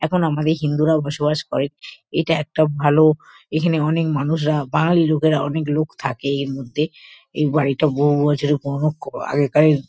এখন আমাদের হিন্দুরাও বসবাস করে এটা একটা ভালো এখানে অনেক মানুষরা বাঙালি লোকেরা অনেক লোক থাকে এর মধ্যে এই বাড়িটা বহু বছরের পুরোনো ক আগেকার এর।